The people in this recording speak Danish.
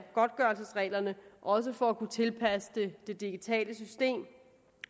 godtgørelsesreglerne også for at kunne tilpasse dem det digitale system